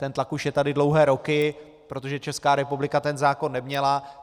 Ten tlak už je tady dlouhé roky, protože Česká republika ten zákon neměla.